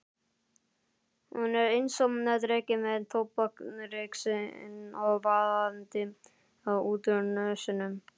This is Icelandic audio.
Hún er einsog dreki með tóbaksreykinn vaðandi út úr nösunum.